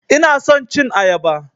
Ina son cin ayaba.